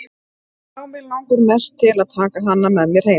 Já, mig langaði mest til að taka hana með mér heim.